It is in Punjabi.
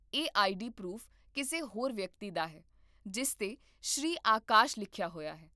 ਇਹ ਆਈਡੀ ਪਰੂਫ਼ ਕਿਸੇ ਹੋਰ ਵਿਅਕਤੀ ਦਾ ਹੈ, ਜਿਸ 'ਤੇ ਸ੍ਰੀ ਆਕਾਸ਼ ਲਿਖਿਆ ਹੋਇਆ ਹੈ